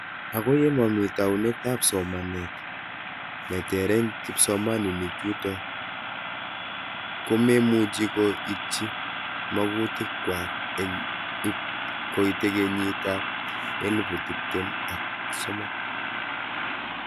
Ako ye mami taunet ab somanet ne ter eng kipsomaninik chuto ko memuchi ko itchi makutik kwak eng ip koite kenyit ab elupu tiptem ak sosom.